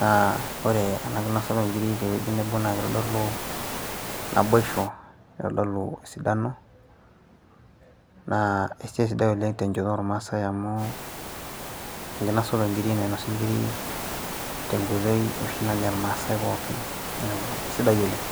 naa ore ena kinosata onkiri tewueji nebo naa kitodolu naboisho o esidano naa kesidai oleng' tenchoto ormaasai amu enkinosata nainasi nkiri tenkoitoi neeku sidai oleng'.